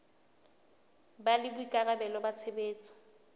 ba le boikarabelo ba tshebetso